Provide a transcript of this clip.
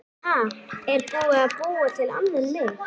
Ha, er búið að búa til annan mig?